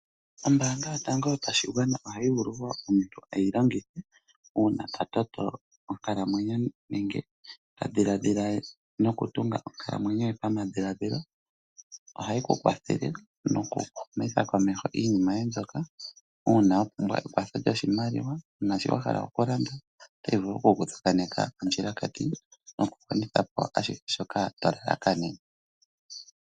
Ombaanga yotango yoshigwana ohayi vulu okulongithwa komuntu ngele a toto onkalamwenyo nenge a dhiladhila okutunga onkalamwenyo ye pamadhiladhilo . Ohayi Ku kwathele noku humitha komeho iinima yoye mbyoka uuna wa pumbwa ekwatho lyoshimaliwa naashi wahala okulanda. Otayi vulu oku ku tsakaneka ondjilakati mokugwanithapo ashihe shoka to lalakanene.